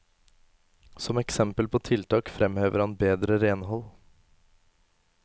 Som eksempel på tiltak fremhever han bedre renhold.